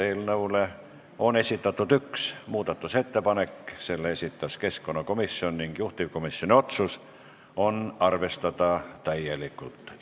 Eelnõu kohta on esitatud üks muudatusettepanek, selle esitas keskkonnakomisjon ning juhtivkomisjoni otsus on arvestada täielikult.